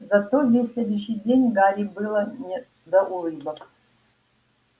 зато весь следующий день гарри было не до улыбок